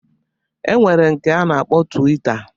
E nwere nke a na-akpọ twita